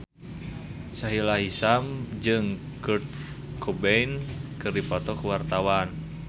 Sahila Hisyam jeung Kurt Cobain keur dipoto ku wartawan